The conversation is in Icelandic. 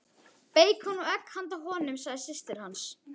Beikon og egg handa honum, sagði systir hans.